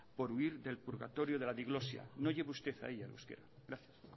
por huir del purgatorio de la diglosia no lleve usted ahí el euskera gracias